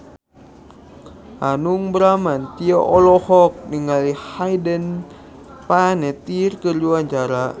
Hanung Bramantyo olohok ningali Hayden Panettiere keur diwawancara